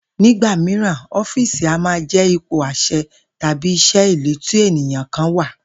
Nígbà mìíràn, ó̩fíìsì a máa jé̩ ipò às̩e̩ tàbí is̩é̩ ìlú tí ènìyàn kan wà